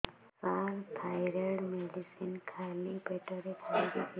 ସାର thyroid medicine ଖାଲି ପେଟରେ ଖାଇବି କି